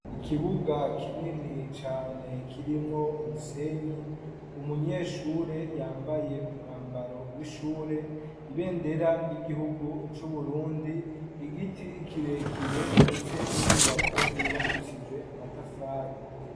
Ikibuga kinini cane kirimwo umusenyi, umunyeshure yambaye umwambaro w'ishure, ibendera ry'igihugu c'Uburundi , igiti kirekire ndetse n'inyubako yubakishijwe amatafari.